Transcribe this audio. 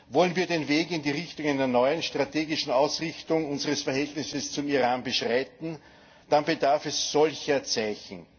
Wollen wir den Weg in die Richtung einer neuen strategischen Ausrichtung unseres Verhältnisses zum Iran beschreiten? Dann bedarf es solcher Zeichen.